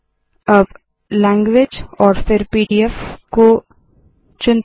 अब लैंग्वेज और फिर पीडीएफ को चुनते है